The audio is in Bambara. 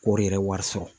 Kɔri yɛrɛ wari sɔrɔ